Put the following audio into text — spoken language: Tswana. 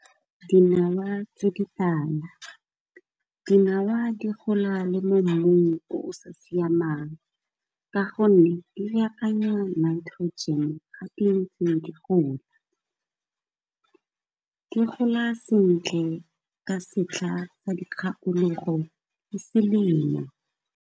Dinawa tse ditala, dinawa di gola le mo mmung o sa siamang ka gonne, di baakanya Nitrogen ga ntse di gola. Di gola sentle ka setlha sa dikgakologo le selemo.